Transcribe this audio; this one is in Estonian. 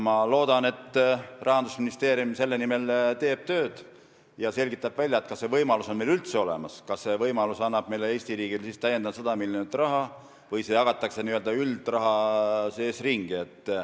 Ma loodan, et Rahandusministeerium teeb selle nimel tööd ja selgitab välja, kas see võimalus on meil üldse olemas, kas see annab Eesti riigile täiendavalt 100 miljonit eurot või jagatakse see n-ö üldraha sees ümber.